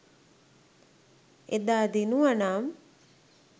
එදා දිනුවනම්